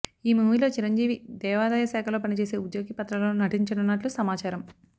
ఈమూవీలో చిరంజీవి దేవాదాయ శాఖలో పనిచేసే ఉద్యోగి పాత్రలో నటించనున్నట్లు సమాచారం